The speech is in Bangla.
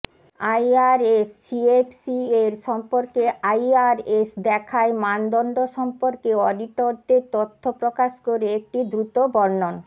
আইআরএস সিএফসি এর সম্পর্কে আইআরএস দেখায় মানদণ্ড সম্পর্কে অডিটরদের তথ্য প্রকাশ করে একটি দ্রুত বর্ণন